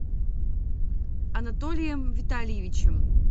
анатолием витальевичем